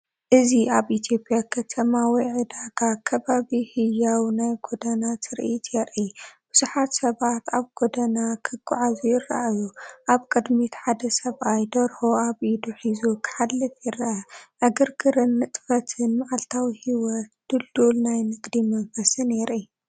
እዚ ኣብ ኢትዮጵያ ከተማ ወይ ዕዳጋ ከባቢ ህያው ናይ ጎደና ትርኢት የርኢ። ብዙሓት ሰባት ኣብ ጎደና ክግዕዙ ይረኣዩ። ኣብ ቅድሚት ሓደ ሰብኣይ ደርሆ ኣብ ኢዱ ሒዙ ክሓልፍ ይርአ። ዕግርግርን ንጥፈትን! መዓልታዊ ህይወትን ድልዱል ናይ ንግዲ መንፈስን የርኢ።